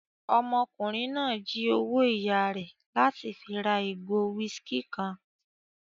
Ọmọkùnrin náà jí owó ìyá rẹ̀ láti fi ra ìgò whiskey kan